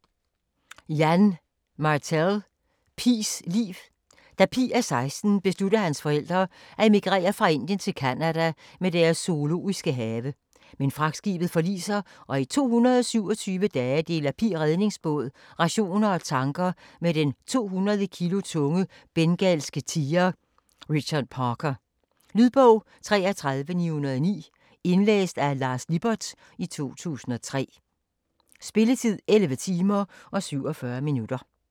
Martel, Yann: Pi's liv Da Pi er seksten beslutter hans forældre at emigrere fra Indien til Canada med deres zoologiske have. Men fragtskibet forliser, og i 227 dage deler Pi redningsbåd, rationer og tanker med den 200 kg tunge bengalske tiger Richard Parker. Lydbog 33909 Indlæst af Lars Lippert, 2003. Spilletid: 11 timer, 47 minutter.